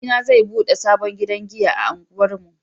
Abokina zai bude sabon gidan giya a unguwar mu